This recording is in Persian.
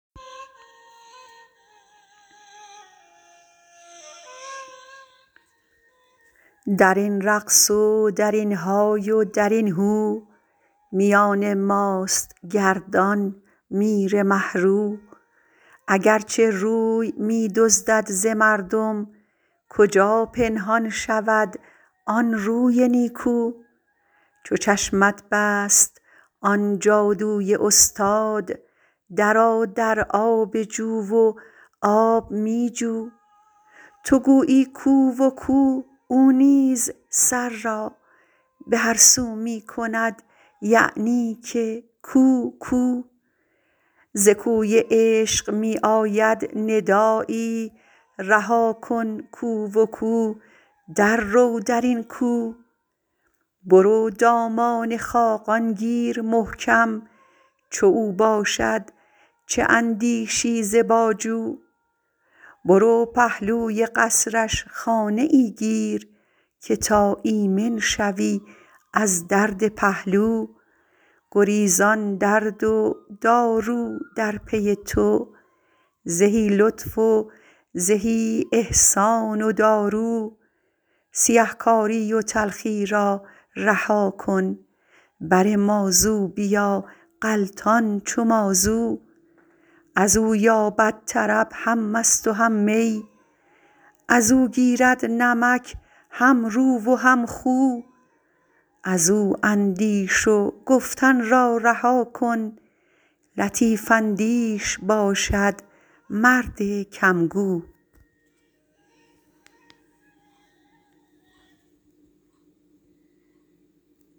در این رقص و در این های و در این هو میان ماست گردان میر مه رو اگر چه روی می دزدد ز مردم کجا پنهان شود آن روی نیکو چو چشمت بست آن جادوی استاد درآ در آب جو و آب می جو تو گویی کو و کو او نیز سر را به هر سو می کند یعنی که کو کو ز کوی عشق می آید ندایی رها کن کو و کو دررو در این کو برو دامان خاقان گیر محکم چو او باشد چه اندیشی ز باجو برو پهلوی قصرش خانه ای گیر که تا ایمن شوی از درد پهلو گریزان درد و دارو در پی تو زهی لطف و زهی احسان و دارو سیه کاری و تلخی را رها کن بر ما زو بیا غلطان چو مازو از او یابد طرب هم مست و هم می از او گیرد نمک هم رو و هم خو از او اندیش و گفتن را رها کن لطیف اندیش باشد مرد کم گو